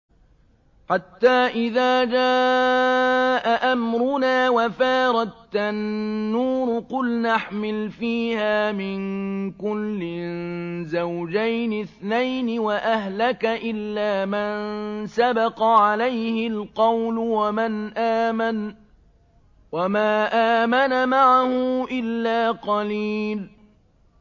حَتَّىٰ إِذَا جَاءَ أَمْرُنَا وَفَارَ التَّنُّورُ قُلْنَا احْمِلْ فِيهَا مِن كُلٍّ زَوْجَيْنِ اثْنَيْنِ وَأَهْلَكَ إِلَّا مَن سَبَقَ عَلَيْهِ الْقَوْلُ وَمَنْ آمَنَ ۚ وَمَا آمَنَ مَعَهُ إِلَّا قَلِيلٌ